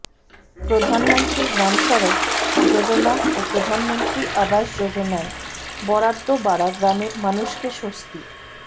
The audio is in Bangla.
প্রধানমন্ত্রী গ্রাম সড়ক যোজনা ও প্রধানমন্ত্রী আবাস যোজনায় বরাদ্দ বাড়া গ্রামের মানুষকে স্বস্তি